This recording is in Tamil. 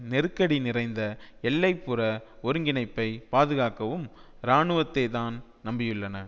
நெருக்கடி நிறைந்த எல்லை புற ஒருங்கிணைப்பை பாதுகாக்கவும் இராணுவத்தைத்தான் நம்பியுள்ளன